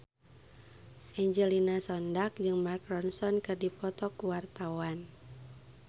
Angelina Sondakh jeung Mark Ronson keur dipoto ku wartawan